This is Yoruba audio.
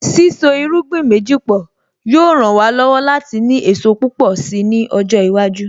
Sísọ irúgbìn méjì pọ̀ yóò ràn wá lọ́wọ́ láti ní èso púpọ̀ si ni ọjọ́ iwájú